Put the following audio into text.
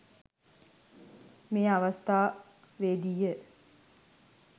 මෙම අවස්ථාවේදීය.